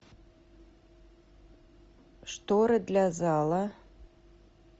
шторы для зала